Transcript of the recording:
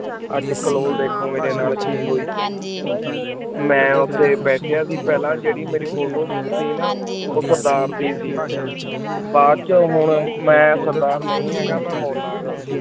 ਅਜੇ ਕਲੋਲ ਡੀਖੋ ਮੇਰੀ ਨਾਲ ਕੀ ਹੋਈ ਮੈਂ ਓਟੀ ਬਯ੍ਤ੍ਯਾਂ ਸੇ ਪਹਲਾ ਜੇਯ੍ਰੀ ਮੇਰੀ photo ਸੇ ਨਾ ਊ ਸਰਦਾਰ ਦੀ ਸੇ ਬਾਅਦ ਚੋ ਵੋ ਮੈਂ ਸਰਦਾਰ ਨਾਈ ਹੇਯ੍ਗਾ ਮੈਂ ਮੋੰਨਾਗ ਗਾਂ